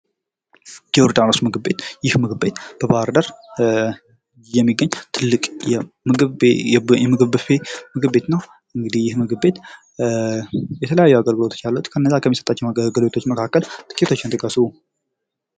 ዮርዳኖስ ምግብ ቤት ይህ ምግብ ቤት በባህር ዳር የሚገኝ ትልቅ የምግብ ብፌ ምግብ ቤት ነው። እንግዲህ ይህ ምግብ ቤት የተለያዩ አገልግሎቶች አሉት። ከነዛ አገልግሎቶች መካከል ጥቂቶችን ጥቀሱ?